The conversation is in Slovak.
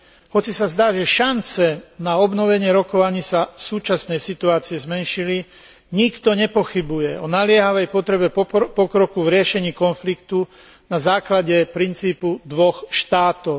Hoci sa zdá, že šance na obnovenie rokovaní sa v súčasnej situácii zmenšili, nikto nepochybuje o naliehavej potrebe pokroku v riešení konfliktu na základe princípu dvoch štátov.